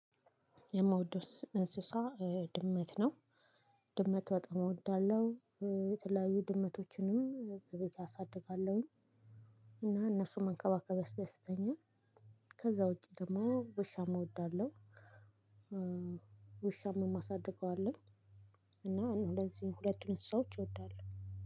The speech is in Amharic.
የምወደው እንስሳ ድመት ነው። ድመት በጣም እወዳለሁ የተለያዩ ድመቶችንም በቤቴ አሳድጋለሁኝ። እና እነሱን መንከባከብ ያስደስተኛል። ከዛ ውጪ ደግሞ ውሻም እወዳለሁ። ውሻም እማሳድገው አለኝ። እና እንደዚህ ሁለቱን እንስሳዎች እወዳለሁ።